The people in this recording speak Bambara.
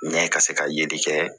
Ɲɛ ka se ka yeli kɛ